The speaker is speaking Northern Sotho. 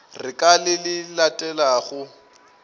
re ka le le latelago